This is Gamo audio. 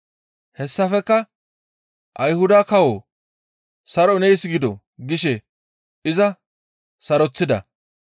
Hessafekka, «Ayhuda kawo saroy nees gido!» gishe iza saroththida.